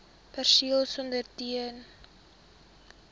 perseel spandeer ten